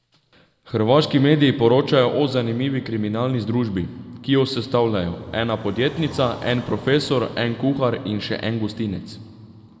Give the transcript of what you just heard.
Hrvaški mediji poročajo o zanimivi kriminalni združbi, ki jo sestavljajo ena podjetnica, en profesor, en kuhar in še en gostinec.